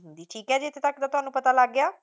ਠੀਕ ਹੈ ਜੀ ਇੱਥੇ ਤੱਕ ਤਾਂ ਤੁਹਾਨੂੰ ਪਤਾ ਲੱਗ ਗਿਆ